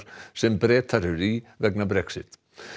sem Bretar eru í vegna Brexit